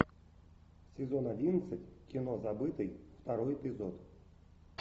сезон одиннадцать кино забытый второй эпизод